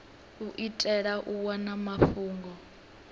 u itela u wana mafhungo